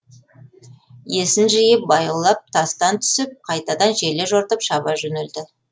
есін жиып баяулап тастан түсіп қайтадан желе жортып шаба жөнелді